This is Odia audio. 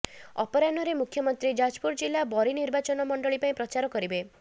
ଅପରାହ୍ନରେ ମୁଖ୍ୟମନ୍ତ୍ରୀ ଯାଜପୁର ଜିଲ୍ଲା ବରୀ ନିର୍ବାଚନମଣ୍ଡଳୀ ପାଇଁ ପ୍ରଚାର କରିବେ